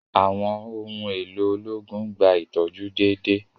Àwọn ohùn èló ológun n gbà itọju déédéé